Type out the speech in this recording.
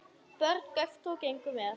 Börn göptu og gengu með.